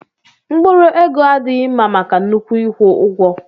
Mkpụrụ ego adịghị mma maka nnukwu ịkwụ ụgwọ.